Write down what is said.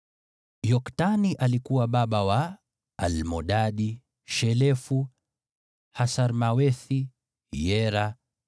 Yoktani alikuwa baba wa: Almodadi, Shelefu, Hasarmawethi, Yera,